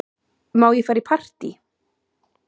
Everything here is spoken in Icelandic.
Má ég fara í partí?